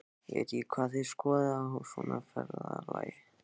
Ég veit ekki hvað þið skoðið á svona ferðalagi.